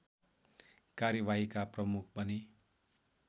कार्यवाहीका प्रमुख बने